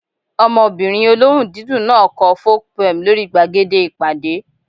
Ọmọbìnrin olóhùn dídùn náà kọ folk poem lórí gbàgede ìpàdé